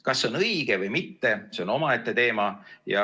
Kas see on õige või mitte, see on omaette teema.